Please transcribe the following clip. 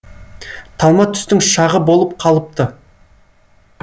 талма түстің шағы болып қалыпты